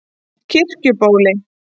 Kirkjubóli